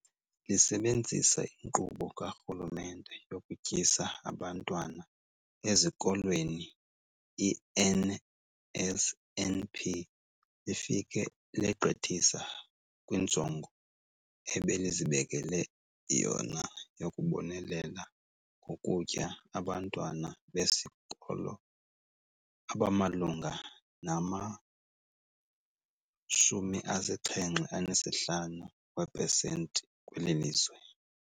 Lisebenzisa iNkqubo kaRhulumente yokuTyisa Abantwana Ezikolweni, i-NSNP, lifike legqithisa kwinjongo ebelizibekele yona yokubonelela ngokutya abantwana besikolo abamalunga nama-75 weepesenti kweli lizwe.